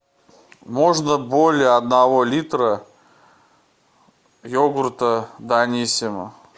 можно более одного литра йогурта даниссимо